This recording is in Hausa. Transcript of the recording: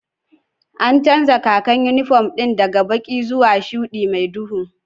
An canja kakar inifom ɗin daga baƙi zuwa shuɗi mai duhu